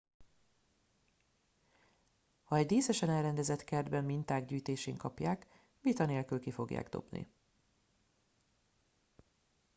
ha egy díszesen elrendezett kertben minták gyűjtésén kapják vita nélkül ki fogják dobni